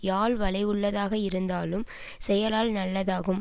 யாழ் வளைவுள்ளதாக இருந்தாலும் செயலால் நல்லதாகும்